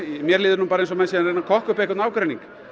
mér líður eins og menn séu að reyna að kokka upp einhvern ágreining